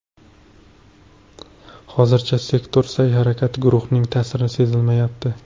Hozircha sektor sa’y-harakatida guruhning ta’siri sezilmayapti.